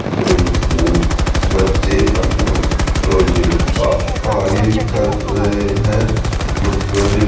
जोर से बच्चे अपना प्रोजेक्ट का कार्य कर रहे हैं और प्रोजेक्ट --